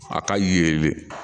A ka yelen